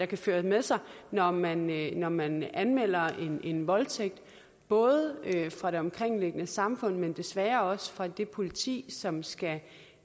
kan føre med sig når man når man anmelder en voldtægt både fra det omkringliggende samfund men desværre også fra det politi som skal